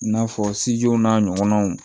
I n'a fɔ n'a ɲɔgɔnnaw